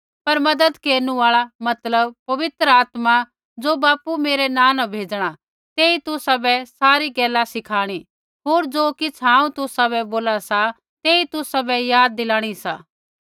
पर मज़त केरनु आल़ा मतलब पवित्र आत्मा ज़ो बापू मेरै नाँ न भेजणा तेई तुसाबै सारी गैला सिखाणी होर ज़ो किछ़ हांऊँ तुसाबै बोला सा तेई तुसाबै याद दिलाणा सा